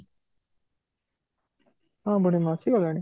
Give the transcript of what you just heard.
ହଁ ବୁଢ଼ୀମା ଆସି ଗଲେଣି